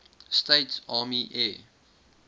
states army air